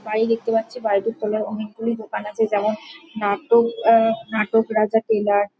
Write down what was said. বাড়ি দেখতে পাচ্ছি। বাড়িটির তলায় অনেকগুলি দোকান যেমন আছে নাটক আ নাটক রাজা টেলার ।